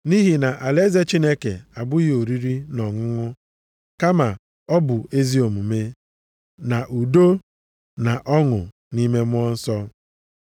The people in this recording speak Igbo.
Nʼihi na alaeze Chineke abụghị oriri na ọṅụṅụ kama ọ bụ ezi omume, na udo na ọṅụ nʼime Mmụọ Nsọ.